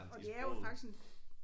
Og det er jo faktisk en